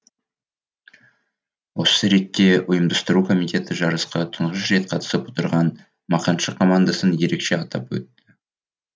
осы ретте ұйымдастыру комитеті жарысқа тұңғыш рет қатысып отырған мақаншы командасын ерекше атап өтті